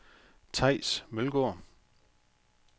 Theis Mølgaard